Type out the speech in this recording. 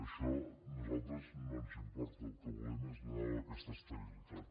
això a nosaltres no ens importa el que volem és donar aquesta estabilitat